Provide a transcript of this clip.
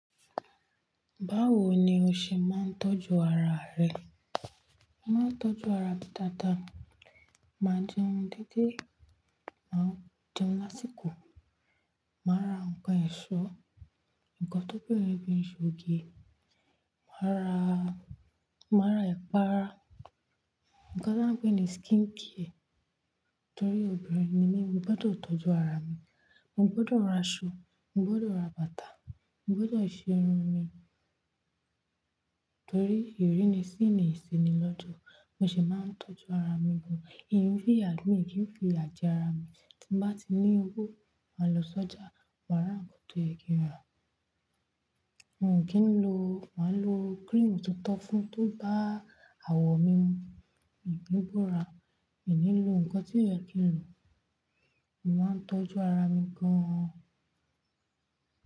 Báwo ni o ṣe máa ń tọ́jú ara rẹ? Mo máa ń tọ́jú ara mi dada. Ma jẹun dedé, màá jẹun lásìkò. Màá ra ǹkan ẹ̀ṣọ́, ǹkan tó pé ni ẹ̀ṣọ́ oge. Màá ra, màá ra ipá rá. Ǹkan tí wọ́n ń pè ní skin care. Nítorí obìnrin ni mí, mo gbọ́dọ̀ tọ́jú ara mi. Mo gbọ́dọ̀ ra aṣọ, mo gbọ́dọ̀ ra bàtà, mo gbọ́dọ̀ ṣe irun mi. Torí ìrínisí ni ìsení lọ́jọ́. Mo sì máa ń tọ́jú ara mi gan. Mi n ki fìyà, mi kí n fi ìyà jẹ ara mi. Tí bá ti ní owó, màá lọ sọ́jà, màá ra ǹkan tó ye kí n rà. Mo kì í lo, màá lo cream tuntun to fún tó bá awọ̀ mi mu. Mi n ki bóra. Mi ní lò ǹkan tí o yẹ̀ kìí n lò. Mo máa ń tọ́jú ara mi gan.